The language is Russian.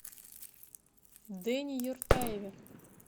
дэне юртаеве